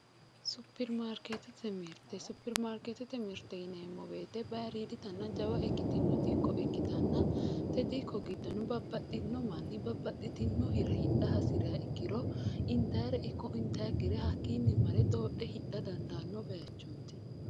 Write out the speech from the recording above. Superimaarketete mirte, superimaarketete mirte yineemmo woyte bayiridittanna jawa ikkitino dikko ikkittanna tene dikko giddono babbaxxitino manni babbaxxitino hira hidha hasiriha ikkiro intayire ikko intannikkire hakkinni marre doodhe hidha dandaano bayichoti.